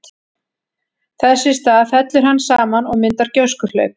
Þess í stað fellur hann saman og myndar gjóskuhlaup.